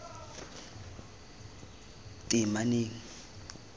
teemaneng